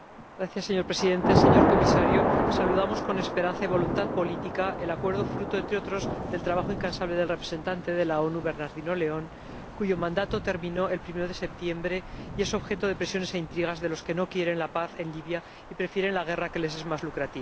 Señor Presidente, señor Comisario, saludamos con esperanza y voluntad política el acuerdo, fruto, entre otros, del trabajo incansable del representante de las Naciones Unidas, Bernardino León, cuyo mandato terminó el primero de septiembre, y que es objeto de presiones e intrigas de los que no quieren la paz en Libia y prefieren la guerra, que les es más lucrativa.